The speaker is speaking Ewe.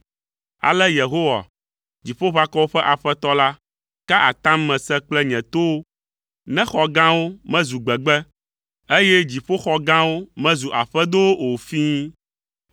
Ale Yehowa, Dziƒoʋakɔwo ƒe Aƒetɔ la, ka atam mese kple nye towo, “Ne xɔ gãwo mezu gbegbe, eye dziƒoxɔ gãwo mezu aƒedowo o fĩi!